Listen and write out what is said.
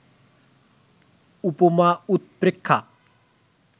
উপমা-উৎপ্রেক্ষা